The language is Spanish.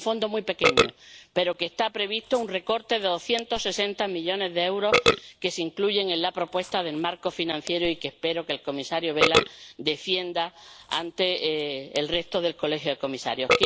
Se trata de un Fondo muy pequeño— para el que está previsto un recorte de 260 millones de euros en la propuesta del marco financiero— y que espero que el comisario Vella defienda ante el resto del Colegio de Comisarios.